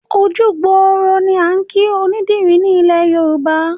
Ojú gbòòrò ni à ń kìí onídìrì ni ilẹ̀ Yorùbá.